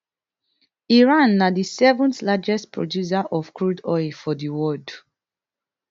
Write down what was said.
iran na di seventh largest producer of crude oil for di world